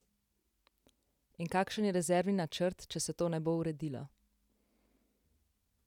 In kakšen je rezervni načrt, če se to ne bo uredilo?